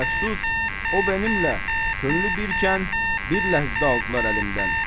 Əfsus, o mənimlə könlü birkən bir ləhzə aldılar əlimdən.